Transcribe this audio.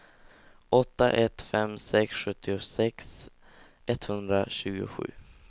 åtta ett fem sex sjuttiosex etthundratjugosju